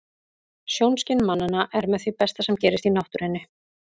Sjónskyn mannanna er með því besta sem gerist í náttúrunni.